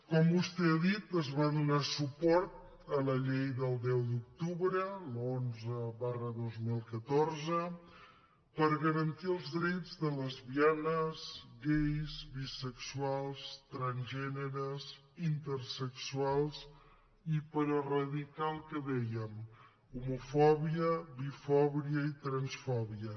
com vostè ha dit es va donar suport a la llei del deu d’octubre l’onze dos mil catorze per garantir els drets de lesbianes gais bisexuals transgèneres intersexuals i per eradicar el que dèiem homofòbia bifòbia i transfòbia